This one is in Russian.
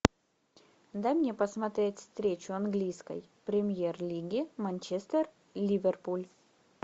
дай мне посмотреть встречу английской премьер лиги манчестер ливерпуль